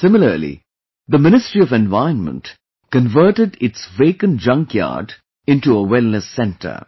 Similarly, the Ministry of Environment converted its vacant junkyard into a wellness centre